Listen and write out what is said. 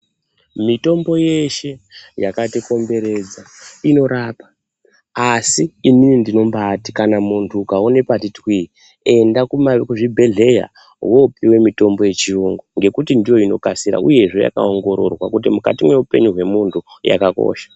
Mitombo yeeshe yakatikomberedza, inorapa, asi inini ndinombaati, kana muntu ukaone pati twii ,enda kuma kuzvibhedhleya, wopiwe mitombo yechiyungu ,ngekuti ndiyo inokasira, uye yakaongororwa kuti mukati mweupenyu hwemuntu, yakakosha.